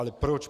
Ale proč?